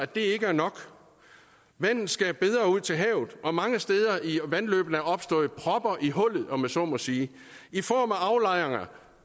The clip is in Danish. det ikke er nok vandet skal bedre ud til havet og mange steder er der i vandløbene opstået propper i hullet om jeg så må sige i form af aflejringer